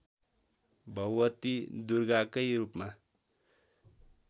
भगवती दुर्गाकै रूपमा